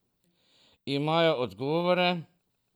Imajo odgovore?